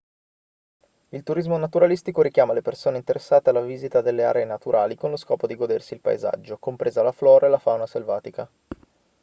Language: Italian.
il turismo naturalistico richiama le persone interessate alla visita delle aree naturali con lo scopo di godersi il paesaggio compresa la flora e la fauna selvatica